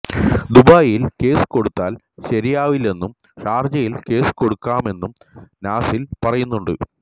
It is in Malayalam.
ദുബായിയിൽ കേസ് കൊടുത്താൽ ശരിയാവില്ലെന്നും ഷാർജയിൽ കേസ് കൊടുക്കാമെന്നും നാസിൽ പറയുന്നുണ്ട്